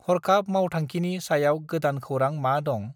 हर्खाब मावथांखिनि सायाव गोदान खौरां मा दं?